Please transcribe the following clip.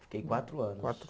Fiquei quatro anos. Quatro